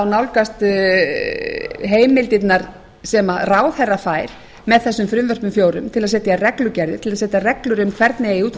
nálgast heimildirnar sem ráðherra fær með þessum frumvörpum fjórum til að setja reglugerðir til að setja reglur um hvernig eigi